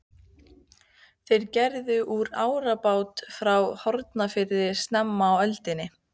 Þeir gerðu út árabát frá Hornafirði snemma á öldinni.